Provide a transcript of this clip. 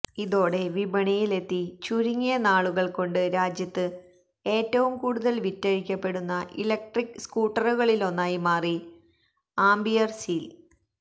ഇതോടെ വിപണിയില് എത്തി ചുരുങ്ങിയ നാളുകള് കൊണ്ട് രാജ്യത്ത് ഏറ്റവും കൂടുതല് വിറ്റഴിക്കപ്പെടുന്ന ഇലക്ട്രിക്ക് സ്കൂട്ടറുകളിലൊന്നായി മാറി ആംപിയര് സീല്